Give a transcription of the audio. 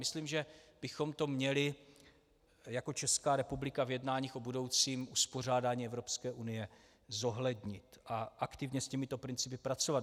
Myslím, že bychom to měli jako Česká republika v jednáních o budoucím uspořádání Evropské unie zohlednit a aktivně s těmito principy pracovat.